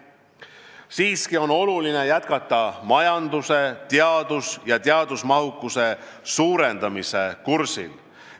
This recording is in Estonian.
Siiski on oluline jätkata majanduse teadus- ja teadmusmahukuse suurendamise kursil.